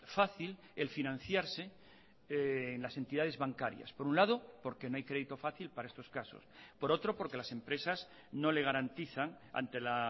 fácil el financiarse en las entidades bancarias por un lado porque no hay crédito fácil para estos casos por otro porque las empresas no le garantizan ante la